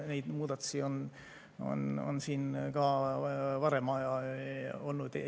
Neid muudatusi on ka varem olnud.